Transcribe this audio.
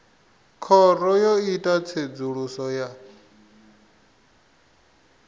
khoro yo ita tsedzuluso ya